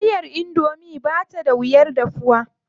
Taliyar indomie ba ta da wuyar dafawa.